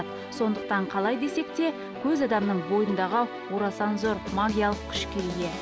сондықтан қалай десек те көз адамның бойындағы орасан зор магиялық күшке ие